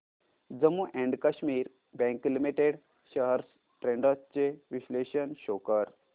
Jammu and Kashmir bank limited shares trends चे विश्लेषण show कर